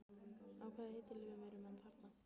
Á hvaða eiturlyfjum eru menn þarna?